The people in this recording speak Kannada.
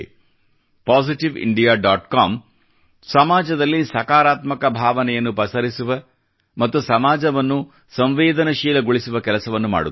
ಪಾಸಿಟಿವ್ ಇಂಡಿಯಾ ಡಾಟ್ ಕಾಮ್ ಸಮಾಜದಲ್ಲಿ ಸಕಾರಾತ್ಮಕ ಭಾವನೆಯನ್ನು ಪಸರಿಸುವ ಮತ್ತು ಸಮಾಜವನ್ನು ಸಂವೇದನಶೀಲಗೊಳಿಸುವ ಕೆಲಸವನ್ನು ಮಾಡುತ್ತಿದೆ